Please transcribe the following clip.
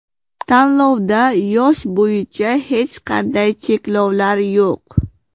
Tanlovda yosh bo‘yicha hech qanday cheklovlar yo‘q.